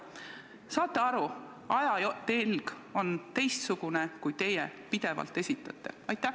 Kas te saate aru, et ajatelg on teistsugune, kui teie pidevalt esitate?